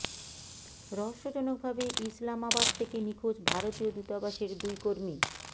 রহস্যজনক ভাবে ইসলামাবাদ থেকে নিখোঁজ ভারতীয় দূতাবাসের দুই কর্মী